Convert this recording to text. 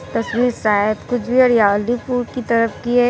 तस्वीर शायद की तरफ की है।